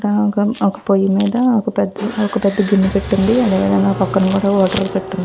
రాగం ఒక పోయి మీద ఒక పెద్ద గిన్నెపెట్టి ఉంది. అదేవిధంగా ఓ పక్కన కూడా వాటర్ పెట్టి ఉంది.